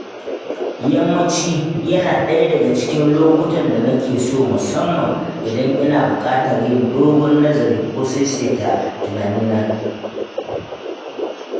Yammaci yana ɗaya daga cikin lokutan da na ke so musamman idan ina buƙatar yin dogon nazari ko saisaita tunaina.